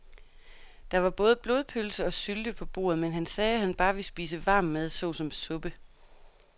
Der var både blodpølse og sylte på bordet, men han sagde, at han bare ville spise varm mad såsom suppe.